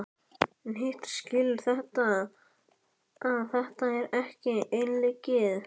En hitt skilur hann að þetta er ekki einleikið.